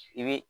I bɛ